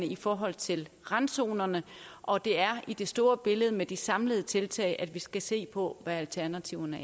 i forhold til randzonerne og det er i det store billede med de samlede tiltag vi skal se på hvad alternativerne